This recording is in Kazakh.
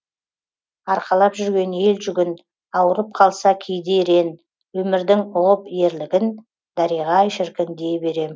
арқалап жүрген ел жүгін ауырып қалса кейде ерен өмірдің ұғып ерлігін дариға ай шіркін дей берем